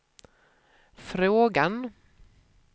frågan